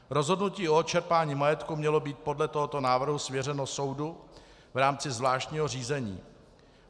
Rozhodnutí o odčerpání majetku mělo být podle tohoto návrhu svěřeno soudu v rámci zvláštního řízení.